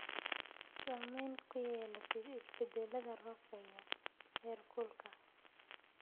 Saamayn ku yeelatid isbeddellada roobabka iyo heerkulka.